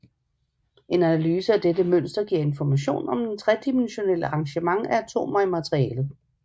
En analyse af dette mønster giver information om det tredimensionelle arrangement af atomer i materialet